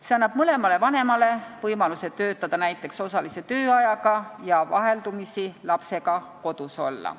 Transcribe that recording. See annab vanematele võimaluse töötada näiteks osalise tööajaga ja vaheldumisi lapsega kodus olla.